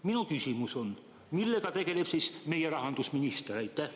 Minu küsimus: millega tegeleb siis meie rahandusminister?